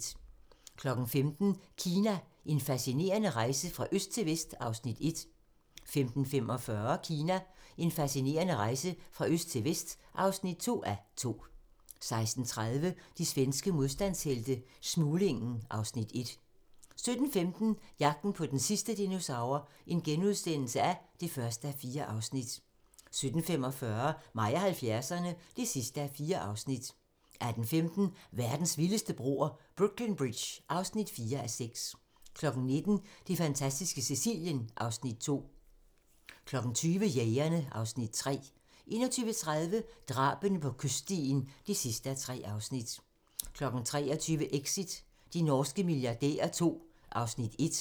15:00: Kina - en fascinerende rejse fra øst til vest (1:2) 15:45: Kina - en fascinerende rejse fra øst til vest (2:2) 16:30: De svenske modstandshelte - Smuglingen (Afs. 1) 17:15: Jagten på den sidste dinosaur (1:4)* 17:45: Mig og 70'erne (4:4) 18:15: Verdens vildeste broer - Brooklyn Bridge (4:6) 19:00: Det fantastiske Sicilien (Afs. 2) 20:00: Jægerne (Afs. 3) 21:30: Drabene på kyststien (3:3) 23:00: Exit - de norske milliardærer II (Afs. 1)